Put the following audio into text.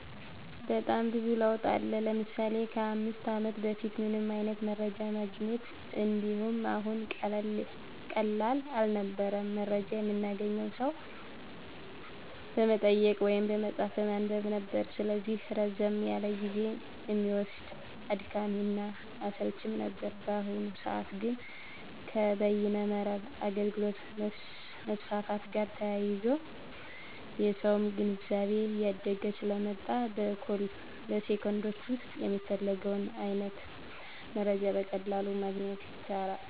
በጣም ብዙ ለውጥ አለ። ለምሳሌ ከ 5 አመት በፊት ምንም አይነት መረጃ ማግኘት እንደ አሁኑ ቀላል አልነበረም። መረጃ የምናገኘው ሰው በመጠየቅ ወይም መፅሀፍ በማንበብ ነበር። ስለዚህ ረዘም ያለ ጊዜ እሚወስድ፣ አድካሚ እና አሰልችም ነበር። በአሁኑ ሰዐት ግን ከበይነ መረብ አገልግሎት መስፋፋት ጋር ተያይዞ የሰውም ግንዛቤ እያደገ ስለመጣ በ ሴኮንዶች ዉስጥ የፈለግነውን አይነት መረጃ በቀላሉ ማግኘት ይቻላል።